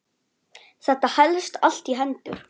Þetta helst allt í hendur.